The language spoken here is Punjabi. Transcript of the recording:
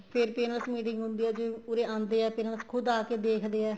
ਫ਼ੇਰ parents meeting ਹੁੰਦੀ ਏ ਉਰੇ ਆਦੇ ਹੈ parents ਖੁੱਦ ਆਕੇ ਦੇਖਦੇ ਹੈ